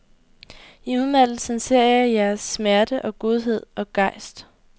I udmattelsen ser jeg jeres smerte og godhed og gejst.